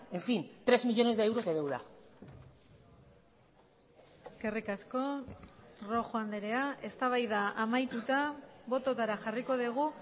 en fin tres millónes de euros de deuda eskerrik asko rojo andrea eztabaida amaituta bototara jarriko dugu